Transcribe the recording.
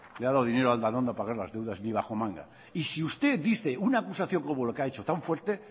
le ha dado dinero a aldanondo para pagar las deudas ni bajo manga y si usted dice una acusación como lo que ha hecho tan fuerte